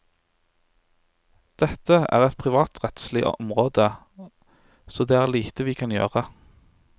Dette er et privatrettslig område, så det er lite vi kan gjøre.